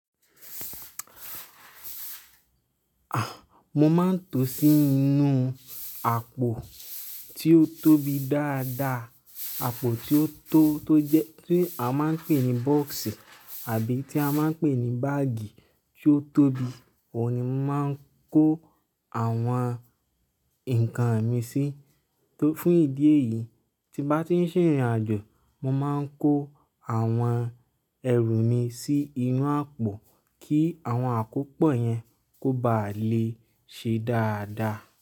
Ah, mo máa ń to sí inú àpò tí ó tóbi dáadáa, àpò tí ó tó tó jẹ, tí a máa ń pè ní bọ́ọ́sì àbí tí a máa ń pè ní báàgì tí ó tóbi, òun ni mo máa ń kó àwọn nǹkan mi sí. Tó fún ìdí èyí, tí bá ti ń ṣe ìrìnàjò, mo máa ń kó àwọn ẹrù mi sí inú àpò kí àwọn àkópọ̀ yẹn kó ba à lè ṣe dáadáa.